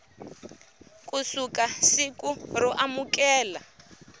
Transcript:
ku suka siku ro amukela